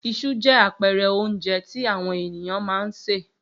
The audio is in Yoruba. Iṣu jẹ́ àpẹẹrẹ oúnjẹ tí àwọn ènìyàn máa ń sè.